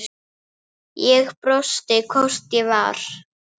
Ég brosti, hvort ég var!